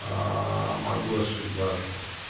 могу ошибаться